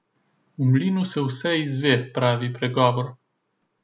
V mlinu se vse izve, pravi pregovor.